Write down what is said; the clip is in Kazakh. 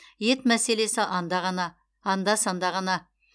ет мәселесі анда ғана анда санда ғана